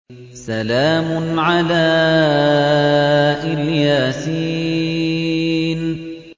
سَلَامٌ عَلَىٰ إِلْ يَاسِينَ